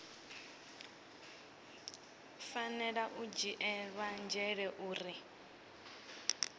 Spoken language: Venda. fanela u dzhielwa nzhele uri